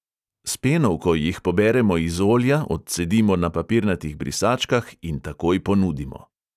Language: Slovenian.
S penovko jih poberemo iz olja, odcedimo na papirnatih brisačkah in takoj ponudimo.